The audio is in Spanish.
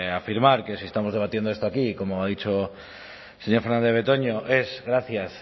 afirmar que si estamos debatiendo esto aquí como ha dicho el señor fernandez de betoño es gracias